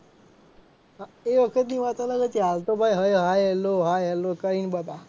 એ વખત ની વાત અલગ હતી હાલ તો ભાઈ hi hello hi hello કરે બધા.